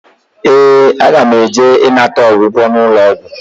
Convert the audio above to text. Ee, aga m eje ịnata ọgwụgwọ n'ụlọọgwụ